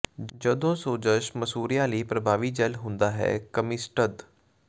ਜਦੋਂ ਸੋਜਸ਼ ਮਸੂੜਿਆਂ ਲਈ ਪ੍ਰਭਾਵੀ ਜੈੱਲ ਹੁੰਦਾ ਹੈ ਕਮਿਸਟਦ